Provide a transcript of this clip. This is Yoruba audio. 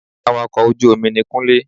Awakọ̀ ojú omi ni Kúnlé